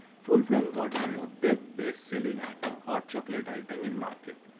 full frame মধ্যে body মধ্যে best selling item hot chocolate in market